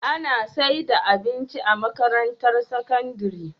Ana saida abinci a makarantar sakandari?